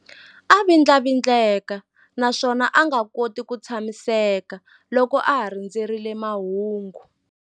A vindlavindleka naswona a nga koti ku tshamiseka loko a ha rindzerile mahungu.